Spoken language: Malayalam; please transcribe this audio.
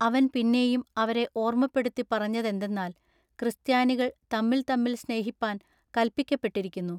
അവൻ പിന്നെയും അവരെ ഓർമ്മപ്പെടുത്തിപ്പറഞ്ഞതെന്തെന്നാൽ ക്രിസ്ത്യാനികൾ തമ്മിൽ തമ്മിൽ സ്നേഹിപ്പാൻ കല്പിക്കപ്പെട്ടിരിക്കുന്നു.